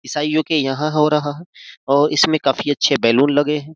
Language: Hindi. ईसाइयों के यहां हो रहा है और इसमें काफी अच्छे लगे हैं।